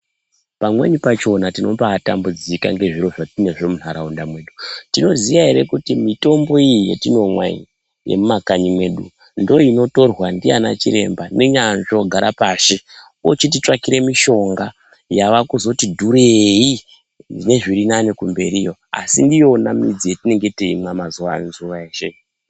Pamweni pachona tinombaatambudzika ngezviro zvatinazvo munharaunda mwedu. Tinoziya ere kuti mitombo iyi yetinomwa iyi, yemumakanyi mwedu, ndoinotorwa ndiana chiremba nenyanzvi ogara pashi, ochititsvakire mishonga ,yavakuti dhurei nezvirinane mberiyo, asi ndiyona midzi yatinonga teimwa mazuwa eshe.